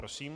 Prosím.